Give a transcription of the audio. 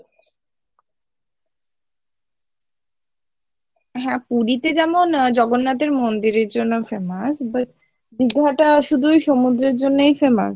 হ্যাঁ, পুরীতে যেমন জগন্নাথের মন্দিরের জন্য famous, but দীঘাটা শুধু সমুদ্রর জন্যই famous?